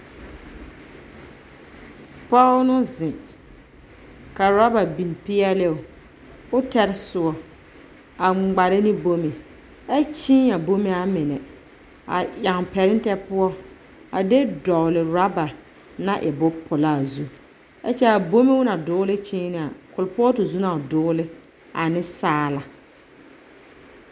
Pͻge no zeŋ, ka orͻba biŋ peԑloo koo tare sõͻ a ŋmare ne bome ԑ kyee a bome a mine a yaŋ pԑretԑ poͻ a de dͻgele orͻba naŋ e bomponaa zu. ԑ kyԑ a bome o naŋ doole kyeena kuripootu zu na o doole ane saala.